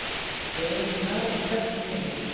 Vegurinn lá í kröppum beygjum